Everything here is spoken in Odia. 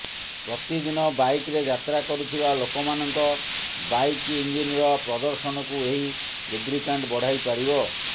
ପ୍ରତଦିନ ବାଇକ୍ରେ ଯାତ୍ରା କରୁଥିବା ଲୋକମାନଙ୍କ ବାଇକ୍ ଇଞ୍ଜିନର ପ୍ରଦର୍ଶନକୁ ଏହି ଲୁବ୍ରିକ୍ୟାଣ୍ଟ୍ ବଢ଼ାଇପାରିବ